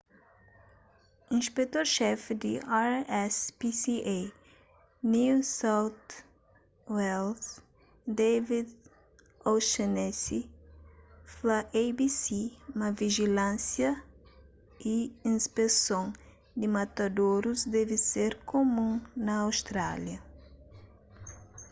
inspetor xefi di rspca new south wales david o'shannessy fla abc ma vijilânsia y inspeson di matadorus debe ser kumun na austrália